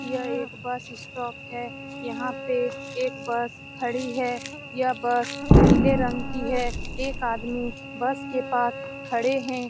यह एक bus stop है यहाँ पे एक बस खड़ी है यह बस नीले रंग की है एक आदमी बस के पास खड़े हैं ।